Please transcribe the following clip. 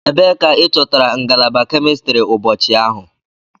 Ebee ka ị chọtara ngalaba kemistri ụbọchị ahụ?